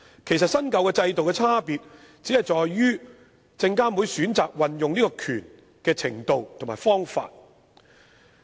其實，新舊制度的差別只在於證監會負責運用這權力的程度和方法。